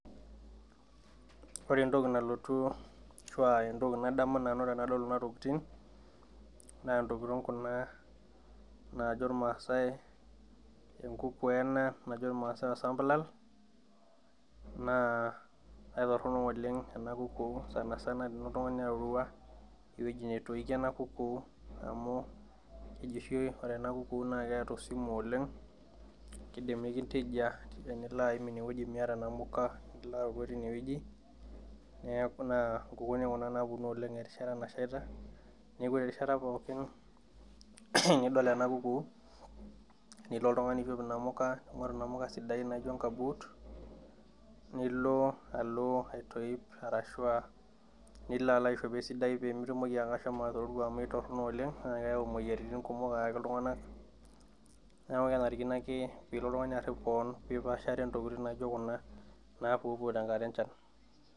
Ore entoki ashu entoki nadanu nanu tanadol kunatokitin na ntokitin kuna najo irnasaai, enkuku ena najo irmaasai osambulal na aitoronok oleng enakuku sanisana tenilo oltungani arorua ewueji natoikio enakuku amu keji oshi ore enakuku na keeta esimu oleng kindim nikintejia tenilo aim inewueji miata namuka ,neanu taa nkukuni kuna naponu erishata nashieta, neaku nkukuni nidol ena kuku nilo oltungani aishoo inamuka ningoru olotungani namuka sidain nijo nkabut nilo alo aitopip arashu a nilio aishopo esidai pemitoki ashomo atororua amu kaitoronok oleng na keyau moyiaritin kumok ayaki ltunganak neaku kebarikino ake pilo oltungani arip keon pipaashare ntokitin naijo kuna napuoopuo tenkata enchan.